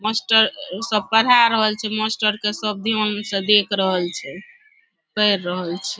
Master सब पढाय रहल छै मास्टर के सब ध्यान से देख रहल छै पढ़ रहल छै ।